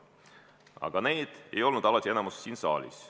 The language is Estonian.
Aga niisugused inimesed ei moodusta ole alati enamuse siin saalis.